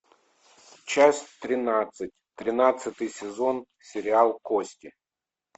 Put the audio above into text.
часть тринадцать тринадцатый сезон сериал кости